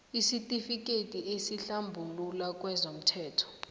isitifikethi esikuhlambulula kezomthelo